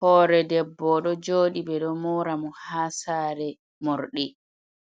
Hore debbo o do jodi be do mora mo ha sare mordi